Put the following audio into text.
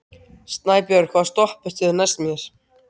Snæbjört, hvaða stoppistöð er næst mér?